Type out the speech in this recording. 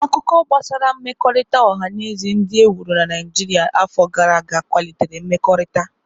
Akụkọ gbasara mmekọrịta ọha na eze ndị e wuru na Naijiria afọ gara aga kwalitere mmekọrịta.